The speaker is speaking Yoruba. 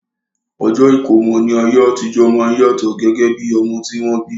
Ọjọ́ ìkómọ ní ayé àtijọ́ máa ń yàtọ̀ gẹ́gẹ́ bí ọmọ tí wọ́n bí